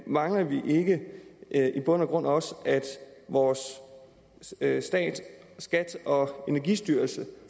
mangler vi ikke i bund og grund også at vores stat stat skat og energistyrelsen